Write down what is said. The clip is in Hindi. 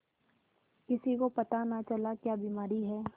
किसी को पता न चला क्या बीमारी है